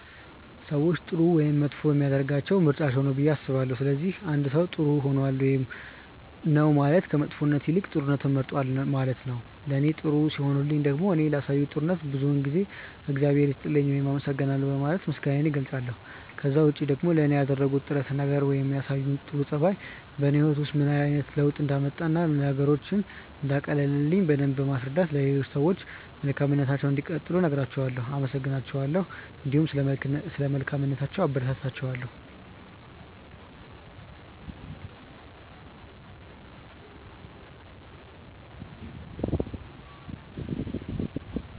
ሰዎችን ጥሩ ወይም መጥፎ የሚያደርጋቸው ምርጫቸው ነው ብዬ አስባለሁ። ስለዚህ አንድ ሰው ጥር ሆኗል ውይም ነው ማለት ከመጥፎነት ይልቅ ጥሩነትን መርጧል ነው ማለት ነው። ለኔ ጥሩ ሲሆኑልኝ ደግሞ እኔ ላሳዩኝ ጥሩነት ብዙውን ጊዜ እግዚአብሔር ይስጥልኝ ውይም አመሰግናለሁ በማለት ምስጋናዬን እገልጻለሁ። ከዛ ውጪ ደግሞ ለኔ ያደረጉት ጥረት ነገር ወይም ያሳዩኝ ጥሩ ጸባይ በኔ ህይወት ውስጥ ምን አይነት ለውጥ እንዳመጣ እና ነገሮችን እንዳቀለለልኝ በደምብ በማስረዳት ለሌሎች ሰዎችም መልካምነታቸውን እንዲቀጥሉ እነግራቸዋለው፣ አመሰግናቸዋለሁ እንዲሁም ስለ መልካምነታቸው አበረታታቸዋለሁ።